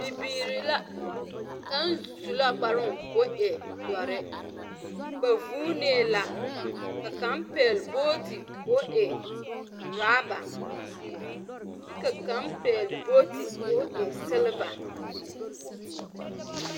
Bibiiri la, kaŋ su la kparoŋ koo e dɔre. Ba vuunee la, ka kaŋ pɛgle booti koo e oraba, kyɛ ka kaŋ pɛgle booti koo e seleva.